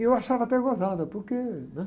E eu achava até gozado, porque, né?